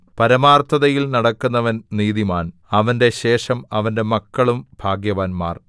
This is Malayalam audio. പരമാർത്ഥതയിൽ നടക്കുന്നവൻ നീതിമാൻ അവന്റെ ശേഷം അവന്റെ മക്കളും ഭാഗ്യവാന്മാർ